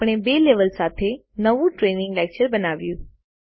આપણે બે લેવલ સાથે નવું ટ્રેઈનીંગ લેકચર બનાવ્યું છે